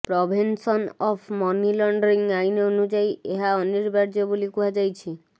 prevention of money laundering ଆଇନ ଅନୁଯାୟୀ ଏହା ଅନିବାର୍ଯ୍ୟ ବୋଲି କୁହାଯାଇଛି